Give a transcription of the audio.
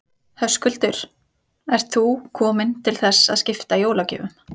Höskuldur: Ert þú komin til þess að skipta jólagjöfum?